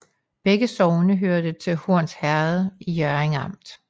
Begge sogne hørte til Horns Herred i Hjørring Amt